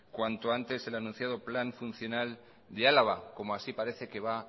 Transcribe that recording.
cuanto antes el anunciado plan funcional de álava como así parece que va